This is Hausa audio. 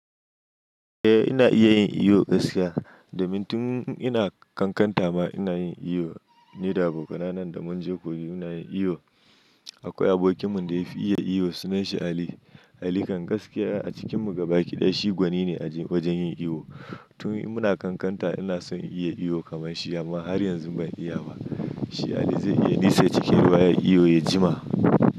Eh ina iya yin iyo gaskiya, domin tun ina kankanta ma ina yin iyo, ni da abokanai da mun je koyi muna yin iyo. Akwai abokinmu da ya fi iya iyo sunan shi Ali. Ali kan gaskiya a cikinmu gabaki ɗaya shi gwani ne a wajen yin iyo. Tun muna kankanta ina son iya iyo kamar shi amma har yanzu ban iya ba. Shi Ali zai iya nisa cikin ruwa ya iyo ya jima.